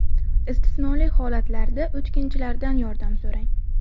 Istisnoli holatlarda o‘tkinchilardan yordam so‘rang.